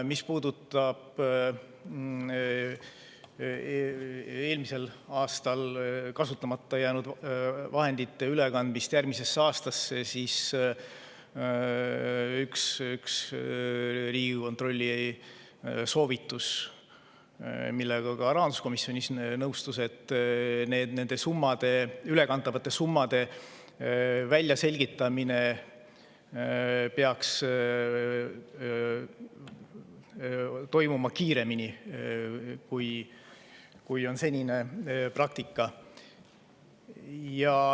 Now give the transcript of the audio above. Mis puudutab eelmisel aastal kasutamata jäänud vahendite ülekandmist järgmisesse aastasse, siis üks Riigikontrolli soovitus, millega rahanduskomisjon nõustus, oli see, et nende ülekantavate summade väljaselgitamine peaks toimuma kiiremini, kui on olnud senine praktika.